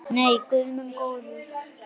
Nei, guð minn góður.